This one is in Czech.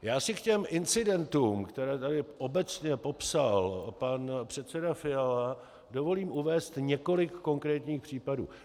Já si k těm incidentům, které tady obecně popsal pan předseda Fiala, dovolím uvést několik konkrétních případů.